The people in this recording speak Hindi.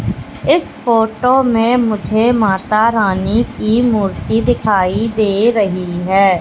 इस फोटो में मुझे माता रानी की मूर्ति दिखाई दे रही है।